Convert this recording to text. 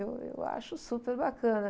Eu, eu acho super bacana.